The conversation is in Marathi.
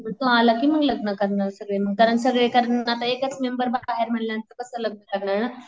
तो आला कि मग लग्न करणारे सगळे मग, कारण सगळे कारण आता एकच मेंबर बाहेर म्हणाल्या नंतर कस लग्न करणार ना.